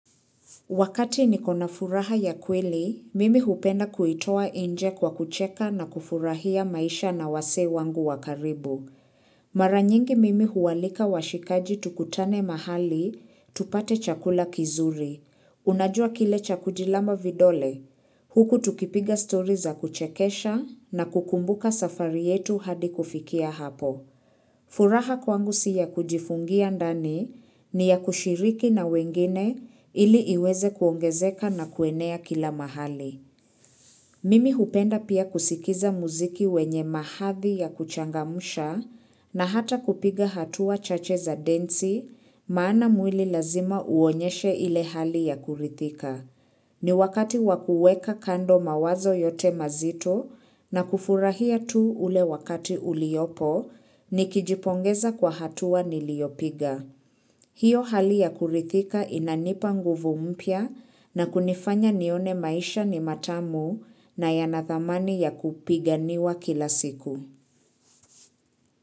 Wakati nikona furaha ya kweli, mimi hupenda kuitoa inje kwa kucheka na kufurahia maisha na wasee wangu wa karibu. Mara nyingi mimi ualika washikaji tukutane mahali tupate chakula kizuri. Unajua kile cha kujilamba vidole, huku tukipiga story za kuchekesha na kukumbuka safari yetu hadi kufikia hapo. Furaha kwangu si ya kujifungia ndani ni ya kushiriki na wengine ili iweze kuongezeka na kuenea kila mahali. Mimi hupenda pia kusikiza muziki wenye mahathi ya kuchangamsha na hata kupiga hatua chache za densi maana mwili lazima uonyeshe ile hali ya kurithika. Ni wakati wa kuweka kando mawazo yote mazito na kufurahia tu ule wakati uliopo nikijipongeza kwa hatua niliopiga. Hiyo hali ya kurithika inanipa nguvu mpya na kunifanya nione maisha ni matamu na yana thamani ya kupiganiwa kila siku.